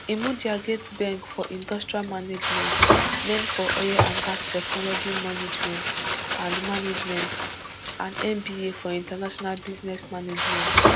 imudia get beng for industrial management men for oil and gas technology management and management and mba for international business management